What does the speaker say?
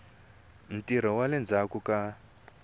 ntirho wa le ndzhaku ka